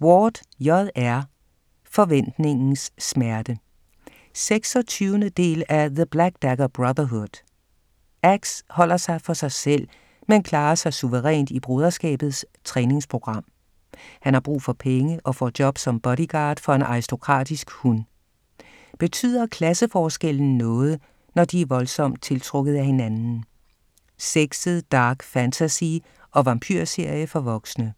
Ward, J. R.: Forventningens smerte 26. del af The black dagger brotherhood. Axe holder sig for sig selv, men klarer sig suverænt i Broderskabets træningsprogram. Han har brug for penge og får job som bodyguard for en aristokratisk hun. Betyder klasseforskellen noget, når de er voldsomt tiltrukket af hinanden? Sexet dark fantasy og vampyrserie for voksne.